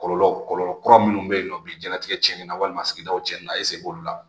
Kɔlɔlɔ kɔlɔlɔ kura minnu bɛ yen nɔ biɲɛtigɛ cɛnni na walima sigidaw cɛnni na e se b'olu la